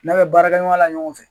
Na bɛ baarakɛ ɲɔgɔnya la ɲɔgɔn fɛ.